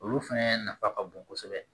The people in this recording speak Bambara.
Olu fɛnɛ nafa ka bon kosɛbɛ